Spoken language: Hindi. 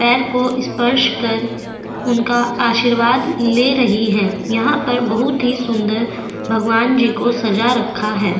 पैर को स्पर्श कर उनका आशीर्वाद ले रही है यहां पर बहुत ही सुंदर भगवान जी को सजा रखा है।